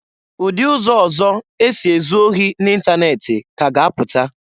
Udi ụzọ ọzọ esi ezụ ohi n'itanet ka a ga-apụta.